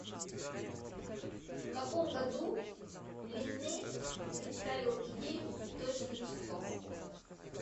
в каком году линней представил идею цветочных часов